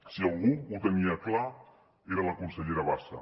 si algú ho tenia clar era la consellera bassa